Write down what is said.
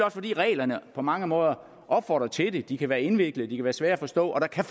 også fordi reglerne på mange måder opfordrer til det de kan være indviklede de kan være svære at forstå og der kan